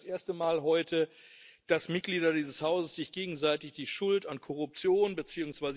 Es ist ja nicht das erste Mal heute, dass Mitglieder dieses Hauses sich gegenseitig die Schuld an Korruption bzw.